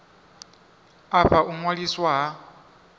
a fha u ṅwaliswa ha